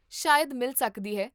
ਸ਼ਾਇਦ ਮਿਲ ਸਕਦੀ ਹੈ